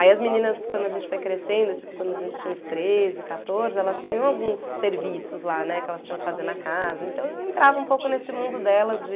Aí as meninas, quando a gente foi crescendo, tipo, quando a gente tinha uns treze, quatorze, elas tinham alguns serviços lá, né, que elas tinham que fazer na casa, então eu entrava um pouco nesse mundo delas de...